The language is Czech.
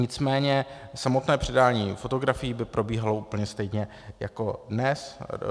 Nicméně samotné předání fotografií by probíhalo úplně stejně jako dnes.